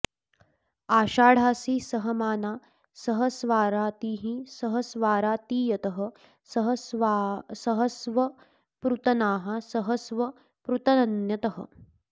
अषा॑ढासि॒ सह॑माना॒ सह॒स्वारा॑तीः॒ सह॑स्वारातीय॒तः सह॑स्व॒ पृत॑नाः॒ सह॑स्व पृतन्य॒तः